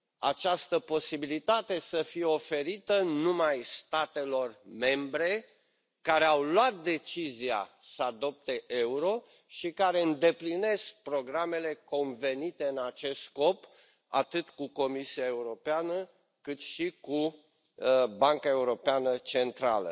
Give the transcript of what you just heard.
această posibilitate să fie oferită numai statelor membre care au luat decizia să adopte euro și care îndeplinesc programele convenite în acest scop, atât cu Comisia Europeană, cât și cu Banca Europeană Centrală.